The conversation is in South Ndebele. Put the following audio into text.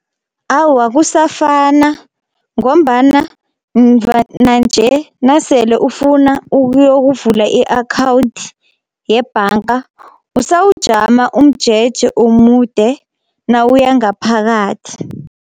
Awa kusafana, ngombana mva nanje nasele ufuna ukuyokuvula i-akhawundi yebhanga usawujama umjeje omude nawuya ngaphakathi.